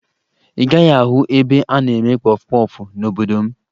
Ị gaghị ahụ ebe a na-eme kpọfụ kpọfụ n'obodo m